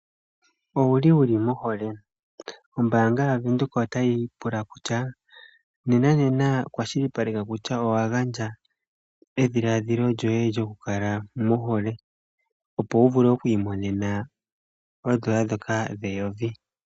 Owu li wu li mohole? Ombaanga yaVenduka otayi pula kutya nenanena kwashilipaleka kutya owa gandja edhiladhilo lyoye lyokukala mohole opo wu vule oku imonena oondola ndhoka dheyovi.